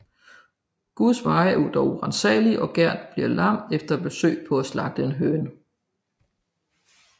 Guds veje er dog uransagelige og Gert bliver lam efter et forsøg på at slagte en høne